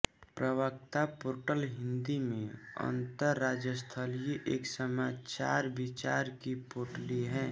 प्रवक्ता पोर्टल हिन्दी में अन्तरजालस्थित एक समाचारविचार की पोटली है